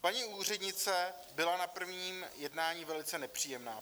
Paní úřednice byla na prvním jednání velice nepříjemná.